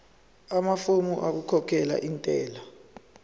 amafomu okukhokhela intela